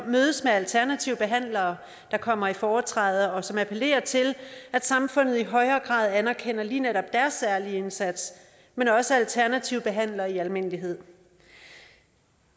mødes med alternative behandlere der kommer i foretræde og som appellerer til at samfundet i højere grad anerkender lige netop deres særlig indsats men også alternative behandlere i almindelighed